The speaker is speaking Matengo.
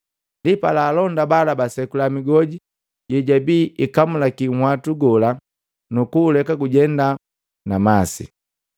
Ndipala alonda bala basekula migoji yeyabi ikamulaki nhwatu gola, nukuuleka gujenda na masi.